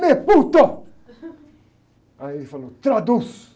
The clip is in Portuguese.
Aí ele falou, traduz.